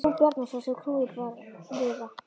Það var Jón Bjarnason sem knúði dyra.